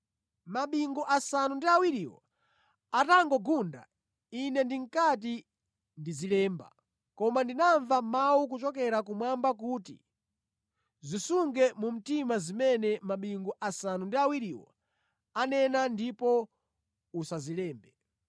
Mabingu asanu ndi awiriwo atangogunda, ine ndinkati ndizilemba; koma ndinamva mawu kuchokera kumwamba kuti, “Zisunge mu mtima zimene mabingu asanu ndi awiriwo anena ndipo usazilembe.”